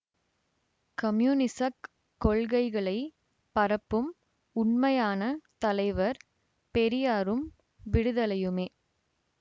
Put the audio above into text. கம்யூனிசக் கொள்கைகளை பரப்பும்உண்மையான தலைவர் பெரியாரும் விடுதலையுமே